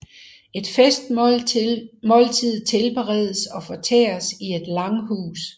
Et festmåltid tilberedes og fortæres i et langhus